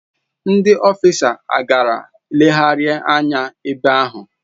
Ndi ọfịsas agaara legharịa anya n'ebe ahụ.